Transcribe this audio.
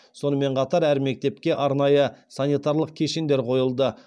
сонымен қатар әр мектепке арнайы санитарлық кешендер қойылды